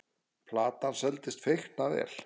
Platan seldist feikna vel.